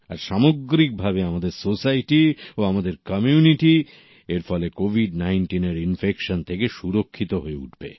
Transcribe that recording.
আর সামগ্রিকভাবে আমাদের সোসাইটি ও আমাদের কমিউনিটি এর ফলে কোভিড ১৯ র ইনফেকশন থেকে সুরক্ষিত হয়ে উঠবে